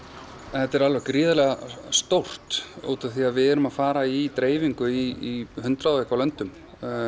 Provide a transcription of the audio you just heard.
þetta er gríðarlega stórt því við erum að fara í dreifingu í hundrað og eitthvað löndum